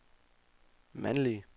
mandlige